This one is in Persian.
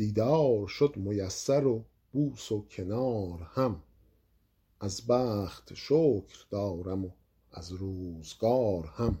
دیدار شد میسر و بوس و کنار هم از بخت شکر دارم و از روزگار هم